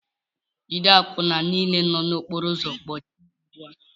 Jide àkwụnà niile nọ n'okpóró ụzọ kpọchie ugbu a!